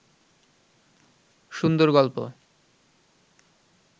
সুন্দর গল্প